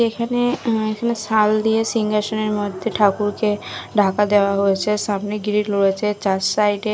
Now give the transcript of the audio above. এখানে এখানে শাল দিয়ে সিংহাসনের মধ্যে ঠাকুরকে ঢাকা দেওয়া হয়েছে সামনে গ্রিল রয়েছে চার সাইডে --